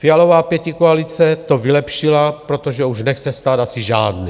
Fialova pětikoalice to vylepšila, protože už nechce stát asi žádný.